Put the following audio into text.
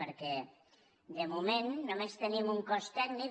perquè de moment només tenim un cos tècnic